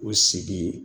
U sigi